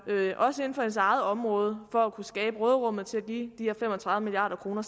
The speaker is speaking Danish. også inden for hendes eget område for at kunne skabe råderum til at give de her fem og tredive milliard kroner